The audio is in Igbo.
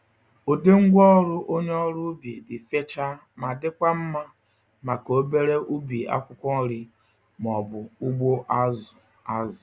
Ụdị ngwá ọrụ onye ọrụ ubi dị fechaa ma dịkwa mma maka obere ubi akwụkwọ nri ma ọ bụ ugbo azụ azụ.